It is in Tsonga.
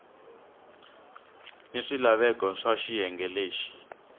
ni swilaveko swa xiyenge lexi